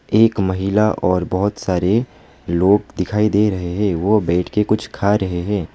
एक महिला और बहोत सारे लोग दिखाई दे रहे हैं वो बैठकर कुछ खा रहे हैं।